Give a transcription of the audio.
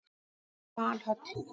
Valhöll